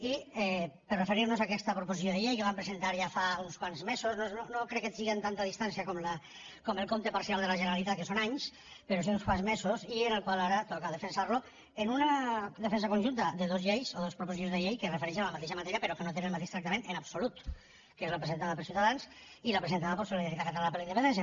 i per referir nos a aquesta proposició de llei que vam presentar ja fa uns quants mesos no crec que siga amb tanta distància com el compte parcial de la generalitat que són anys però són uns quants mesos i en el qual ara toca defensar lo en una defensa conjunta de dos lleis o dos proposicions de llei que es refereixen a la mateixa matèria però que no tenen el mateix tractament en absolut que és la presentada per ciutadans i la presentada per solidaritat catalana per la independència